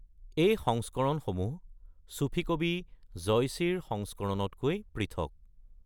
এই সংস্কৰণসমূহ চুফী কবি জয়সিৰ সংস্কৰণতকৈ পৃথক।